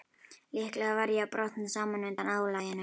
Líklega var ég að brotna saman undan álaginu.